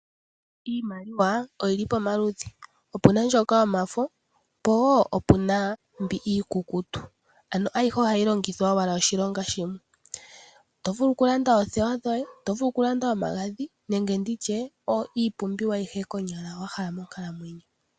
Iimaliwa oyili pamaludhi opena ndyoka yomafo po wo opena mbi iikukutu, ayihe ohayi longithwa oshilonga shimwe oto vulu okulanda oothewa dhoye, oto vulu okulanda omagadhi nenge nditye iipumbiwa ayihe konyala wahala monkalamwenyo.